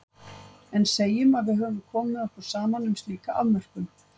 En segjum að við höfum komið okkur saman um slíka afmörkun.